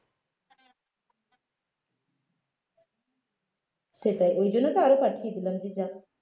সেটাই ওই জন্য তো আরো পাঠিয়ে দিলাম যে যাক